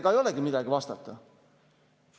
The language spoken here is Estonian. " Ega ei olegi midagi vastata.